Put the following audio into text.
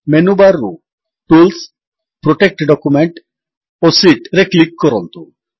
menu bar ରୁ tools protect document ଓ Sheetରେ କ୍ଲିକ୍ କରନ୍ତୁ